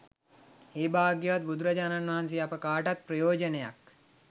ඒ භාග්‍යවත් බුදුරජාණන් වහන්සේ අප කාටත් ප්‍රයෝජනයක්